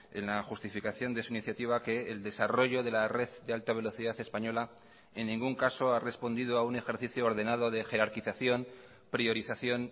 en la justificación de su iniciativa que el desarrollo de la red de alta velocidad española en ningún caso ha respondido a un ejercicio ordenado de jerarquización priorización